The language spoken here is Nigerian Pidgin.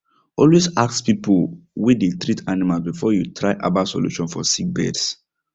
always ask people way they treat animals before you try herbal solution for sick birds